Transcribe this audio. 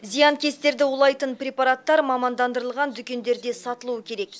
зиянкестерді улайтын препараттар мамандандырылған дүкендерде сатылуы керек